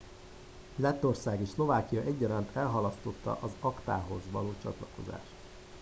lettország és szlovákia egyaránt elhalasztotta az acta hoz való csatlakozást